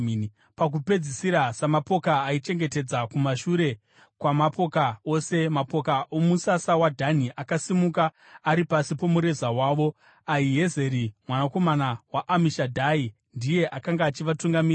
Pakupedzisira, samapoka aichengetedza kumashure kwamapoka ose, mapoka omusasa waDhani akasimuka, ari pasi pomureza wavo. Ahiezeri mwanakomana waAmishadhai ndiye akanga achivatungamirira.